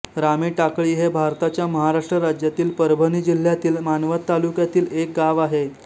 रामेटाकळी हे भारताच्या महाराष्ट्र राज्यातील परभणी जिल्ह्यातील मानवत तालुक्यातील एक गाव आहे